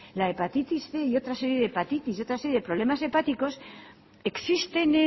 la hepatitis cien y otra serie de hepatitis y otra serie de problemas hepáticos existen